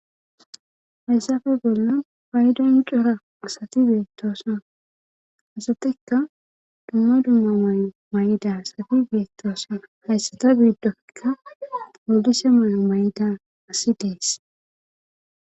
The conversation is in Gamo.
hayssafe bollo baydon yucora asati beettosna asatikka dumma dumma may7o may7ida sabi beettosana hayssata biiddoikka olise mayo may7da asi dees